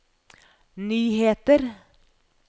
nyheter